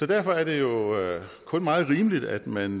derfor er det jo kun meget rimeligt at man